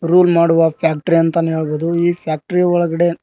rule ಮಾಡುವ factory ಅಂತಾನೆ ಹೇಳಬಹುದು ಈ ಫ್ಯಾಕ್ಟರಿ ಯ ಒಳಗಡೆ --